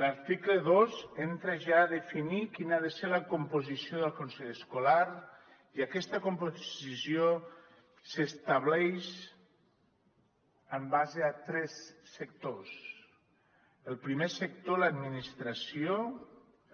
l’article dos entra ja definir quina ha de ser la composició del consell escolar i aquesta composició s’estableix en base a tres sectors el primer sector l’administració